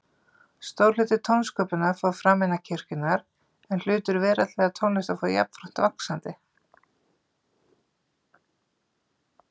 Stór hluti tónsköpunar fór fram innan kirkjunnar, en hlutur veraldlegrar tónlistar fór jafnframt vaxandi.